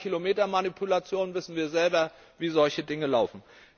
Bei Kilometermanipulationen wissen wir selber, wie solche Dinge laufen.